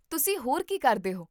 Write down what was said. ਤੁਸੀਂ ਹੋਰ ਕੀ ਕਰਦੇ ਹੋ?